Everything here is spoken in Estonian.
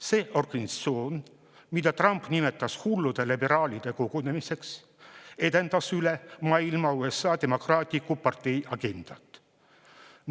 See organisatsioon, mida Trump nimetas hullude liberaalide kogunemiseks, edendas üle maailma USA Demokraatliku Partei agendat.